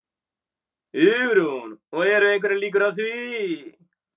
Hugrún: Og eru einhverjar líkur á því?